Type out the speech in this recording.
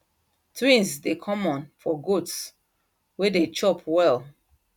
twins dey common for goats way dey chop well